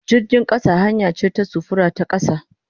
Jirgin kasa hanya ce ta sufuri ta kasa.